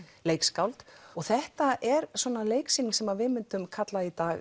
leikskáld og þetta er svona leiksýning sem við myndum kalla í dag